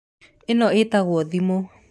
ĩno ĩtagũo thimũ.